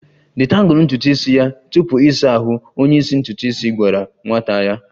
Detangle ntutu isi ya tupu ịsa ahụ! Onye isi ntutu isi gwara nwata ya